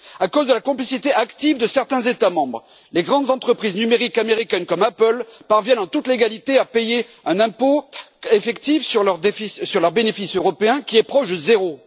À cause de la complicité active de certains États membres, les grandes entreprises numériques américaines, comme Apple, parviennent en toute légalité à payer un impôt effectif sur leurs bénéfices européens qui est proche de zéro.